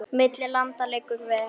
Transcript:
Milli landa liggur ver.